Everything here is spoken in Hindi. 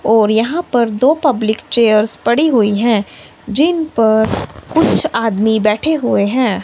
और यहां पर दो पब्लिक चेयर्स पड़ी हुई हैं जिन पर कुछ आदमी बैठे हुए हैं।